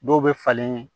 Dɔw bɛ falen